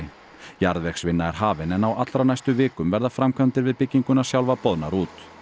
jarðvegsvinna er hafin en á allra næstu vikum verða framkvæmdir við bygginguna sjálfa boðnar út